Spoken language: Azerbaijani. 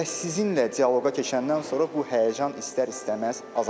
Və sizinlə dialoqa keçəndən sonra bu həyəcan istər-istəməz azalar.